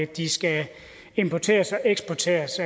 de skal importeres og eksporteres